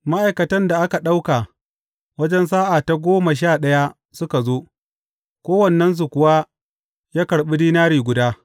Ma’aikatan da ka ɗauka wajen sa’a ta goma sha ɗaya suka zo, kowannensu kuwa ya karɓi dinari guda.